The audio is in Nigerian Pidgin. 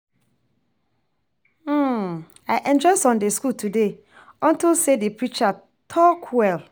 I enjoy Sunday school today unto say the preacher talk well